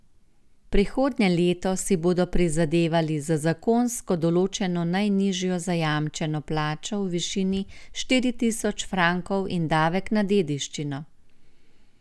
Prihodnje leto si bodo prizadevali za zakonsko določeno najnižjo zajamčeno plačo v višini štiri tisoč frankov in davek na dediščino.